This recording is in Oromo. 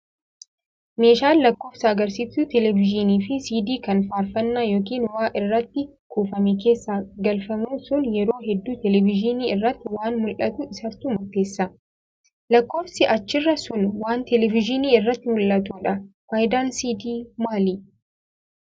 Meeshaan lakkoofsa agarsiiftuu televezyiinii fi siidii kan faarfannaa yookiin waa irratti kuufame keessa galfamu sun yeroo hedduu televezyiinii irratti waan mul'atu isatuu murteessa. Lakkoofsi achirraa sun waan televezyiinii irratti mul'atudha. Fayidaan siidii maalii?